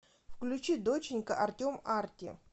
включи доченька артем арти